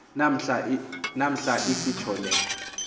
namhla isitsho le